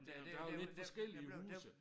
Men der er jo lidt forskellige huse